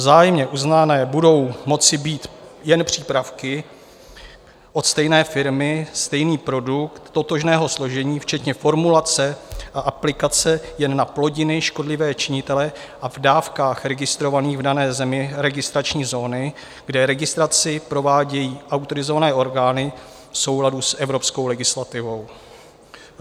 Vzájemně uznané budou moci být jen přípravky od stejné firmy, stejný produkt totožného složení, včetně formulace a aplikace jen na plodiny, škodlivé činitele a v dávkách registrovaných v dané zemi, registrační zóny, kde registraci provádějí autorizované orgány v souladu s evropskou legislativou.